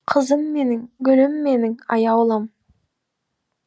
қызым менің гүлім менің аяулым